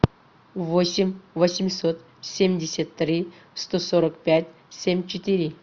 восемь восемьсот семьдесят три сто сорок пять семь четыре